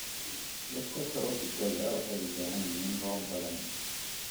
Dhirta trofikada waxay u baahan yihiin roob badan.